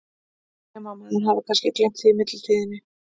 Nema að maður hafi kannski gleymt því í millitíðinni?